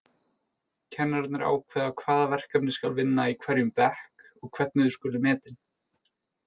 Kennararnir ákveða hvaða verkefni skal vinna í hverjum bekk og hvernig þau skuli metin.